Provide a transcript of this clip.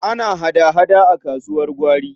Ana hada-hada a kasuwar gwari.